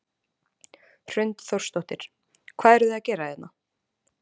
Hrund Þórsdóttir: Hvað eruð þið að gera hérna?